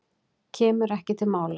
Kemur ekki til mála.